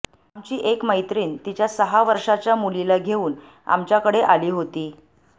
आमची एक मत्रीण तिच्या सहा वर्षांच्या मुलीला घेऊन आमच्याकडे आली होती